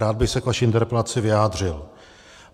Rád bych se k vaší interpelaci vyjádřil.